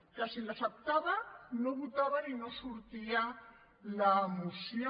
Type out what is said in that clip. que si les acceptava no votaven i no sortia la moció